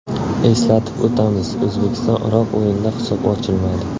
Eslatib o‘tamiz, O‘zbekiston − Iroq o‘yinida hisob ochilmadi.